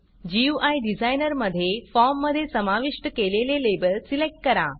गुई designer मधे फॉर्ममधे समाविष्ट केलेले लेबल सिलेक्ट करा